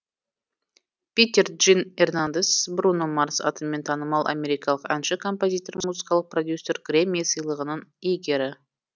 питер джин эрнандес бруно марс атымен танымал америкалық әнші композитор музыкалық продюсер грэмми сыйлығының иегері